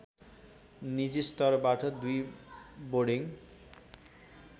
निजीस्तरबाट २ boarding